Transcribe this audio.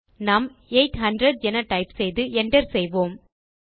நாம் 800 என டைப் செய்து Enter செய்வோம்